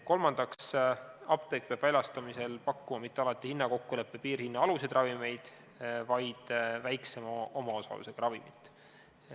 Kolmandaks, apteek peab väljastamisel pakkuma mitte alati hinnakokkuleppe piirhinna aluseid ravimeid, vaid väiksema omaosalusega ravimit.